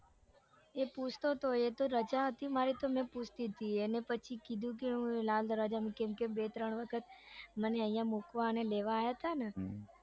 એ પૂછતો તો એતો રજા હતા મારી તે મેં પૂછતી તી એને પછી કેતી કે હું એના અંદર બે ત્રણ વખત મને આઇયા મુકવા અને લેવા આયા તા ને